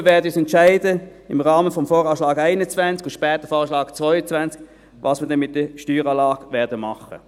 Wir werden uns im Rahmen des VA 2021 und später des VA 2022 entscheiden, was wir dann mit der Steueranlage machen werden.